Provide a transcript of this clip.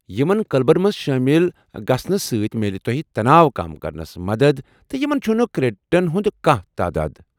یمن کلبن منٛز شٲمل گژھنہٕ سۭتۍ میلہِ تۄہہ تَناو كم كرنس مدتھ تہٕ یمن چُھنہٕ كریڈِٹن ہٖند كانہہ تاداد ۔